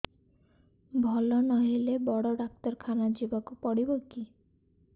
ଭଲ ନହେଲେ ବଡ ଡାକ୍ତର ଖାନା ଯିବା କୁ ପଡିବକି